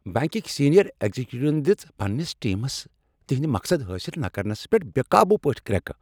بینکٕکۍ senior اگزیکٹون دِژٕ پننس ٹیمس تہندۍ مقصد حٲصل نہٕ کرنس پیٹھ بے قابو پٲٹھۍ کریکہٕ۔